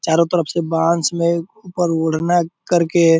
चारो तरफ से बांस में ऊपर उड़ना करके --